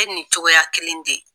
I bɛ nin cogoya kelen de ye.